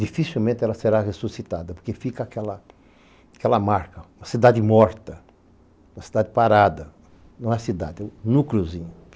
dificilmente ela será ressuscitada, porque fica aquela marca, uma cidade morta, uma cidade parada, não é cidade, é um núcleozinho.